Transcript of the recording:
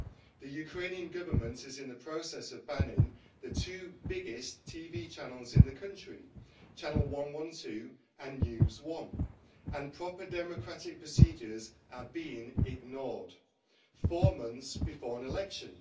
The Ukrainian Government is in the process of banning the two biggest TV channels in the country, Channel 112 and NewsOne, and proper democratic procedures are being ignored four months before an election.